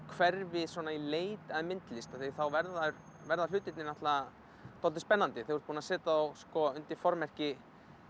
hverfi í leit að myndlist þá verða verða hlutirnir svolítið spennandi þú ert búinn að setja þá undir formerki